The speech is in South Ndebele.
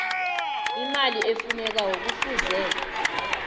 imali efunekako kufuze